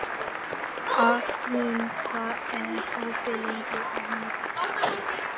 Arnrún, hvað er opið lengi á miðvikudaginn?